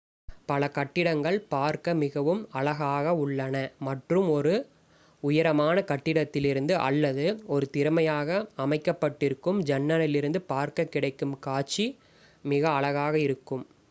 பல கட்டிடங்கள் பார்க்க மிகவும் அழகாக உள்ளன மற்றும் ஒரு உயரமான கட்டிடத்திலிருந்து அல்லது ஒரு திறமையாக அமைக்கப் பட்டிருக்கும் ஜன்னலிலிருந்து பார்க்கக் கிடைக்கும் காட்சி மிக அழகாக இருக்கும்